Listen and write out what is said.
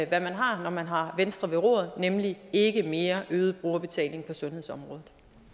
hvad man har når man har venstre ved roret nemlig ikke mere øget brugerbetaling på sundhedsområdet